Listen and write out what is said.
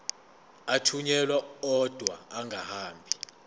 athunyelwa odwa angahambi